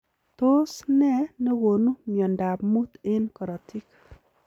Tos ne negonu miondoop muut eng korotik?